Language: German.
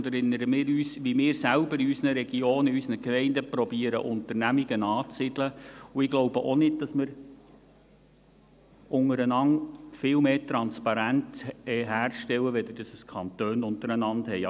Erinnern wir uns, wie wir selber in unseren Regionen, in unseren Gemeinden Unternehmungen anzusiedeln versuchen, und ich glaube auch nicht, dass wir untereinander viel mehr Transparenz herstellen, als die Kantone untereinander haben.